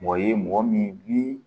Mɔgɔ ye mɔgɔ min ni